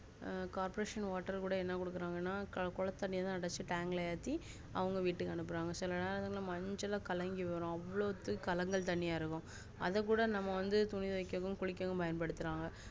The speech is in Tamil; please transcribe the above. அஹ் corporationwater கூட என்ன குடுக்குராங்கன குளத்து தண்ணிய தான் அடைச்சு ஏத்திஅவங்க வீட்டுக்கு அனுப்புறாங்க சில நேரங்கள மஞ்சளாகலங்கிவரும் அவ்ளோ கலங்கள்தண்ணியா இருக்கும் அத கூட நம்ம வந்து துணி தொவைக்க குளிக்க பயன்படுத்துறோம்